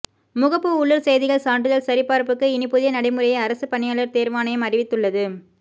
முகப்பு உள்ளூர் செய்திகள் சான்றிதழ் சரிபார்ப்புக்கு இனி புதிய நடைமுறையை அரசு பணியாளர் தேர்வாணையம் அறிவித்துள்ளது